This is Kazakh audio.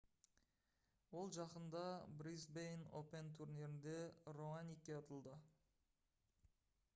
ол жақында brisbane open турнирінде раоникке ұтылды